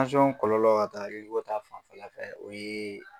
kɔlɔlɔ ka taa ta fanfɛla fɛ ,o ye